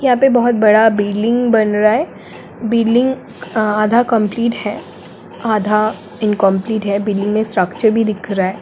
यहा पे बहुत बड़ा बिल्डिंग बन रहा है बिल्डिंग आधा कम्प्लीट है आधा इन्कम्प्लीट है बिल्डिंग स्ट्रक्चर भी दिख रहा है।